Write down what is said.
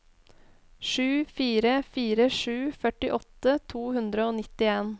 sju fire fire sju førtiåtte to hundre og nittien